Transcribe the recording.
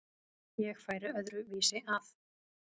Ég færi öðru vísi að.